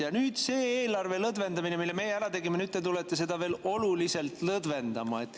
Ja nüüd eelarve, mida meie lõdvendasime, tulete teie veel oluliselt lõdvendama.